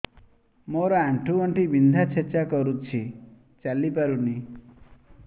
ମୋର ଆଣ୍ଠୁ ଗଣ୍ଠି ବିନ୍ଧା ଛେଚା କରୁଛି ଚାଲି ପାରୁନି